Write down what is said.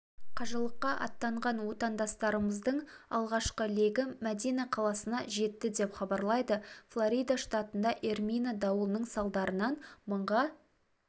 қажылыққа аттанған отандастарымыздың алғашқы легі мәдина қаласына жетті деп хабарлайды флорида штатында эрмина дауылының салдарынан мыңға